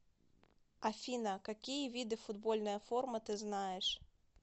афина какие виды футбольная форма ты знаешь